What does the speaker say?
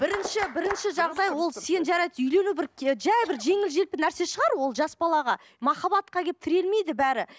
бірінші бірінші жағдай ол сен жарайды үйлену бір жай бір жеңіл желпі нәрсе шығар ол жас балаға махаббатқа келіп тірелмейді бәрі